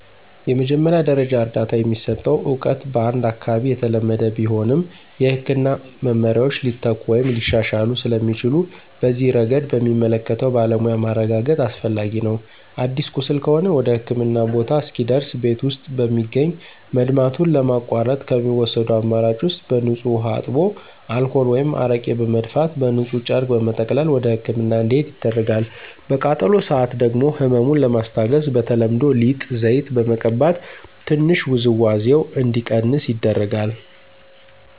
የመጀመሪያ ደረጃ እርዳታ የሚሰጠው እውቀት በአንድ አካባቢ የተለመደ ቢሆንም፣ የሕክምና መመሪያዎች ሊተኩ ወይም ሊሻሻሉ ስለሚችሉ በዚህ ረገድ በሚመለከተው ባለሙያ ማረጋገጥ አስፈላጊ ነው። አዲስ ቁስል ከሆነ ወደህክምና ቦታ እስኪደርስ ቤት ውስጥ በሚገኝ መድማቱን ለማቋረጥ ከሚወሰዱ አማራጭ ውስጥ በንፁህ ውሃ አጥቦ አልኮል ወይም አረቄ በመድፋት በንፁህ ጨርቅ በመጠቅለል ወደህክምና እንዲሄድ ይደረጋል። በቃጠሎ ሰአት ደግሞ ህመሙን ለማስታገስ በተለምዶ ሊጥ፣ ዘይት በመቀባት ትንሽ ውዝዋዜው እንዲቀንስ ይደረጋል።